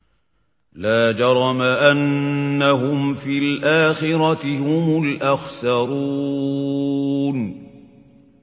لَا جَرَمَ أَنَّهُمْ فِي الْآخِرَةِ هُمُ الْأَخْسَرُونَ